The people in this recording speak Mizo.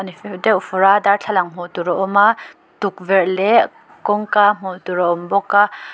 fer deuh fur a darthlalang hmuh tur a awm a tukverh leh kawngka hmuh tur a awm bawk a.